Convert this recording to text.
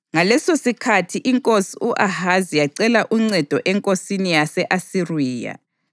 Ngalesosikhathi inkosi u-Ahazi yacela uncedo enkosini yase-Asiriya.